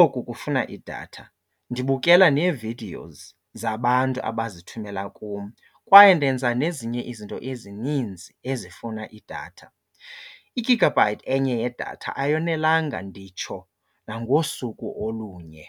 oku kufuna idatha. Ndibukela nee-videos zabantu abazithumela kum kwaye ndenza nezinye izinto ezininzi ezifuna idatha. Igigabhayithi enye yedatha ayonelanga, nditsho nangosuku olunye.